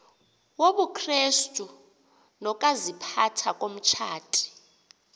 wobukrestu nokaziphatha komtshati